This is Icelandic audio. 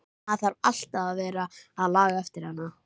Maður þarf alltaf að vera að laga eftir hana.